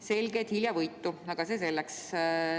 Selge, et hiljavõitu, aga see selleks.